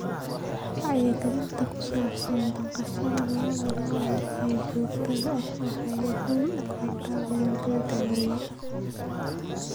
Wacyigelinta ku saabsan dhaqashada lo'da lo'da ee joogtada ah waxay guul u keentay beeralayda yaryar.